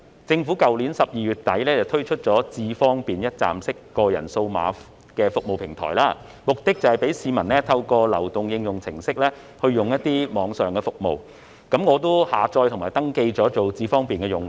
政府於去年12月底推出"智方便"一站式個人化數碼服務平台，目的是讓市民透過流動應用程式使用網上服務，我已下載並登記成為"智方便"用戶。